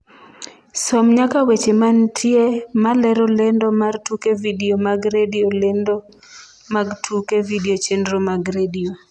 som nyaka weche mantie malero lendo mar tuke vidio mag redio lendo mag tuke vidio chenro mag redio